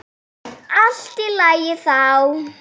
Allt í lagi þá.